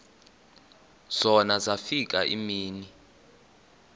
zona zafika iimini